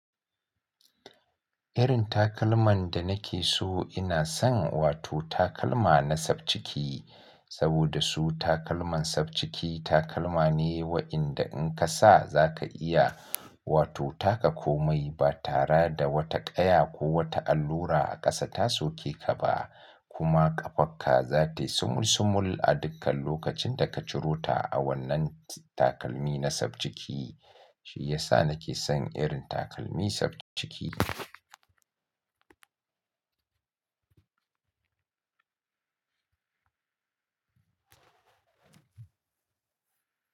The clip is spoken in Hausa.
Irin takalman da nake so ina son wato takalma na sabciki. Saboda su takalman sabciki takalma ne waɗanda in ka sa za ka iya wato taka komai ba tare da wata ƙaya ko wata allura a ƙasa ta soke ka ba kuma ƙafarka za ta sumul sumul a dukkan lokacin da ka cirota a wannan takalmin na sabciki. Shi ya sa nake son irin takalmi sabciki.